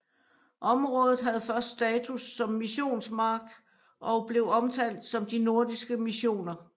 Området havde først status som missionsmark og blev omtalt som de nordiske missioner